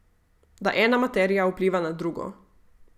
Da ena materija vpliva na drugo.